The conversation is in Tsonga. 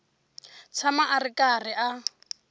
tshama a ri karhi a